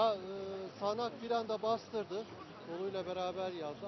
Ya sağanak bir anda bastırdı, doluyla beraber yağdı.